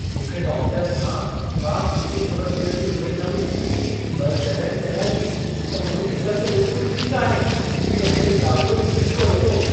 मूंखे डॉक्टर खां का सुठी ख़बर मिलण जी उमेद न हुई, पर जॾहिं चयाईं त मुंहिंजी ससु बिल्कुलु ठीकु आहे, त मूंखे ॾाढो झटिको लॻो।